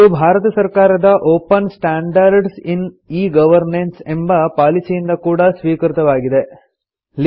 ಇದು ಭಾರತ ಸರ್ಕಾರದ open standards in e governance ಎಂಬ ಪಾಲಿಸಿಯಿಂದ ಕೂಡಾ ಸ್ವೀಕೃತವಾಗಿದೆ